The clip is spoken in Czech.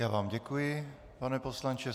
Já vám děkuji, pane poslanče.